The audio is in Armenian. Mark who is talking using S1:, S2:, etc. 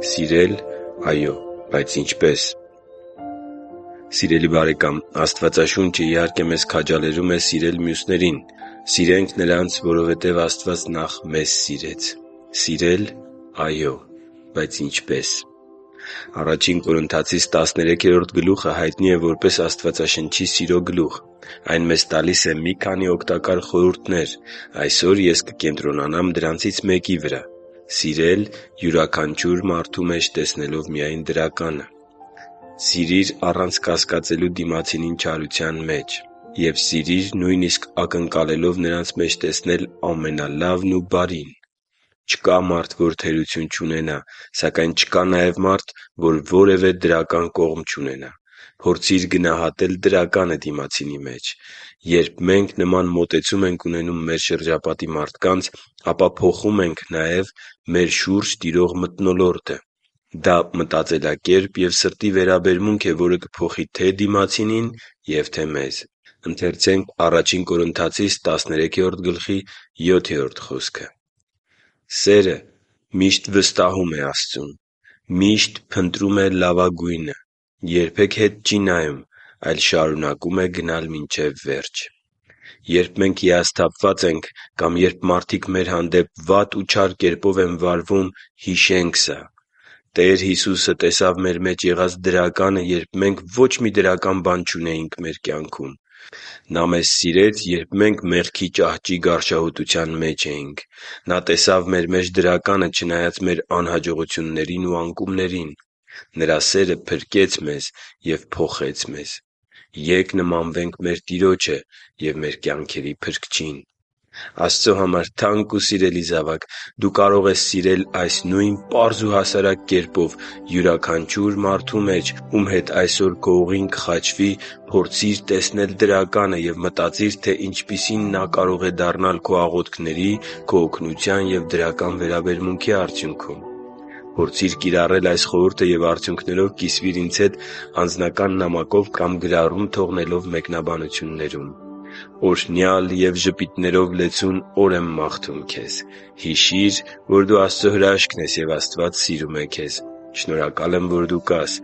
S1: Սիրել… այո՛, բայց ինչպե՞ս Սիրելի՛ բարեկամ, Աստվածաշունչը, իհարկե, մեզ քաջալերում է սիրել մյուսներին։ Սիրե՛նք նրանց, որովհետև Աստված նախ մեզ սիրեց: Սիրել․․․, այո՛, բայց ինչպե՞ս: Ա Կորնթացիս 13-րդ գլուխը հայտնի է որպես Աստվածաշնչի սիրո գլուխ։ Այն մեզ տալիս է մի քանի օգտակար խորհուրդներ: Այսօր ես կկենտրոնանամ դրանցից մեկի վրա․․․ Սիրել՝ յուրաքանչյուր մարդու մեջ տեսնելով միայն դրականը։ Սիրի՛ր առանց կասկածելու դիմացինին չարության մեջ, և սիրիր՝ նույնիսկ ակնկալելով նրանց մեջ տեսնել ամենալավն ու բարին: Չկա մարդ, որ թերություն չունենա։ Սակայն չկա նաև մարդ, որ որևէ դրական կողմ չունենա։ Փորձի՛ր գնահատել դրականը դիմացինի մեջ։ Երբ մենք նման մոտեցում ենք ունենում մեր շրջապատի մարդկանց, ապա փոխում ենք նաև մեր շուրջ տիրող մթնոլորտը: Դա մտածելակերպ և սրտի վերաբերմունք է, որը կփոխի թե՛ դիմացինին և թե՛ մեզ: միշտ վստահում է Աստծուն, միշտ փնտրում է լավագույնը, երբեք հետ չի նայում, այլ շարունակում է գնալ մինչև վերջ» (Ա Կորնթացիս 13.7)։ Երբ մենք հիասթափված ենք կամ երբ մարդիկ մեր հանդեպ վատ ու չար կերպով են վարվում, հիշե՛նք սա... Տեր Հիսուսը տեսավ մեր մեջ եղած դրականը, երբ մենք ոչ մի դրական բան չունեինք մեր կյանքում։ Նա մեզ սիրեց, երբ մենք մեղքի ճահճի գարշահոտության մեջ էինք։ Նա տեսավ մեր մեջ դրականը՝ չնայած մեր անհաջողություններին ու անկումներին: Նրա սերը փրկեց մեզ և փոխեց մեզ։ Ե՛կ նմանվենք մեր Տիրոջը և մեր կյանքերի Փրկչին․․․ Աստծո համար թանկ ու սիրելի՛ զավակ, դու կարող ես սիրել այս նույն պարզ ու հասարակ կերպով՝ յուրաքանչյուր մարդու մեջ, ում հետ այսօր քո ուղին կխաչվի, փորձիր տեսնել դրականը և մտածիր, թե ինչպիսին նա կարող է դառնալ քո աղոթքների, օգնության և դրական վերաբերմունքի արդյունքում։ Փորձի՛ր կիրառել այս խորհուրդը և արդյունքներով կիսվի՛ր ինձ հետ անձնական նամակով կամ գրառում թողնելով մեկնաբանություններում։ Օրհնյալ և ժպիտներով լեցուն օր եմ քեզ մաղթում։ Հիշի՛ր, որ դու Աստծո հրաշքն ես, և Աստված սիրում է քեզ։ Շնորհակալ եմ, որ դու կա՛ս